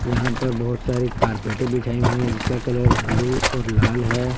यहां पर बहुत सारी बिछाई हुई है जिसका कलर ब्लू और लाल है।